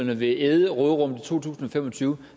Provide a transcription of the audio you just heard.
vil æde råderummet for to tusind og fem og tyve